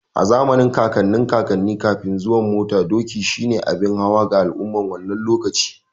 A zamanin kakannin kakanni, Kafin zuwan mota, doki shi ne abin hawa ga al'umman wannan lokacin.